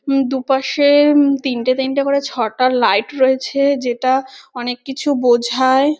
উম দুপাশে তিনটে তিনটে করে ছটা লাইট রয়েছে যেটা অনেক কিছু বোঝায়।